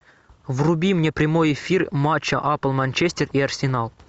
вруби мне прямой эфир матча апл манчестер и арсенал